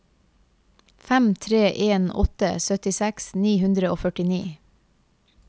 fem tre en åtte syttiseks ni hundre og førtini